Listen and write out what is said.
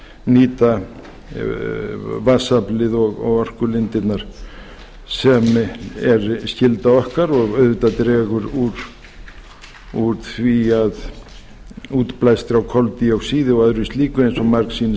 nýta vatnsaflið og orkulindirnar sem er skylda okkar og auðvitað dregur úr útblæstri á koldíoxíði og öðru slíku eins og margsinnis hefur